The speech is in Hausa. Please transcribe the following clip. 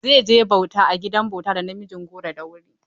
Zai je bauta a gidan bauta da namijin goro da wuri.